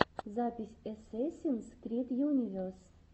запись эсэсинс крид юнивес